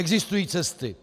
Existují cesty.